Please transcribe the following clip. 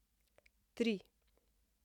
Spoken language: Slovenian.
Tri!